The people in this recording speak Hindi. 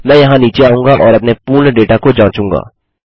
मैं यहाँ नीचे आऊंगा और अपने पूर्ण डेटा को जाँचूंगा